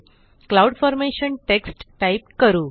cloud formation text type करू